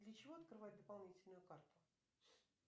для чего открывать дополнительную карту